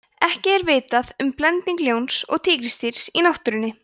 ekki er vitað um blending ljóns og tígrisdýrs í náttúrunni